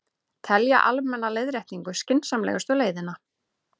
Telja almenna leiðréttingu skynsamlegustu leiðina